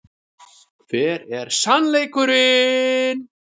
Hver er SANNLEIKURINN?